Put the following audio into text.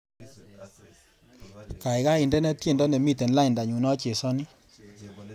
Gaigai indene tyendo nemiten laindanyu nachesani